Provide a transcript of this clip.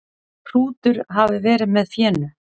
Hrútur hafi verið með fénu.